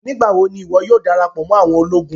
Nigbawo ni iwọ yóò darapọ mọ àwọn ologun?